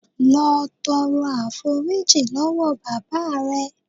Lọ tọrọ àforíjì lọ́wọ́ bàbá rè.